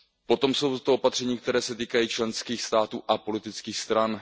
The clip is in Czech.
Potom jsou to opatření, která se týkají členských států a politických stran.